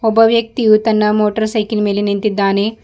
ಒಬ್ಬ ವ್ಯಕ್ತಿಯು ತನ್ನ ಮೋಟರ್ ಸೈಕಲ್ ಮೇಲೆ ನಿಂತಿದ್ದಾನೆ.